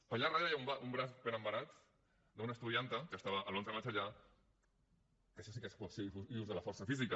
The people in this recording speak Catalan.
per allà darrere hi ha un braç ben embenat d’una estudianta que estava l’onze de maig allà que això sí que és coacció i ús de la força física